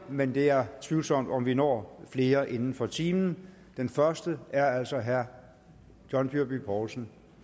men det er tvivlsomt om vi når flere inden for en time den første er altså herre john dyrby paulsen